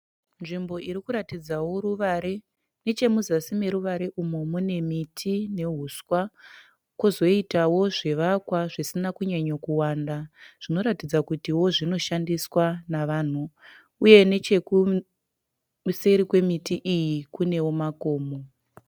Nzvimbo irikuratidzawo ruvare nechemuzasi meruvare umu mune miti nehuswa kozoitawo zvivakwa zvisina kunyanyokuwanda zvinoratidza kutiwo zvinoshandiswa navanhu. Uye nechekuseri kwemiti iyi kunewo makomo.